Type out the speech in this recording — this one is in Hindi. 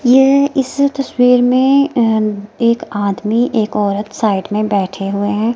यह इस तस्वीर में अ एक आदमी एक औरत साइड में बैठे हुए हैं।